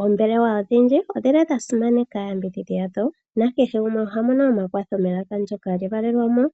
Oombelewa odhindji odhi li dha simaneka aayambidhi yadho, nakehe gumwe oha mono omakwatho melaka lyevalelwamo